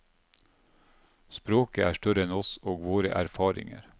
Språket er større enn oss og våre erfaringer.